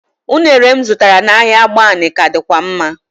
Ụnere m zụtara n'ahịa agbani ka dịkwa mma